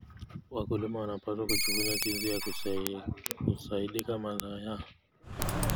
Wakulima wanapaswa kujifunza jinsi ya kusindika mazao yao.